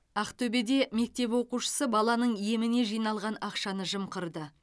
ақтөбеде мектеп оқушысы баланың еміне жиналған ақшаны жымқырды